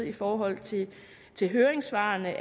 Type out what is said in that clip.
i forhold til til høringssvarene